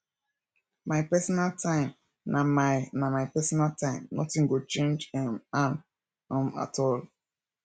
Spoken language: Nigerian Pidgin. my personal time na my na my personal time notin go change um am um at all